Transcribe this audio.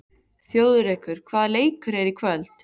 Þjóðrekur, hvaða leikir eru í kvöld?